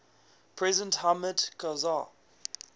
president hamid karzai